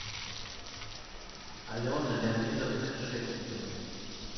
алены леонидовны решетниковой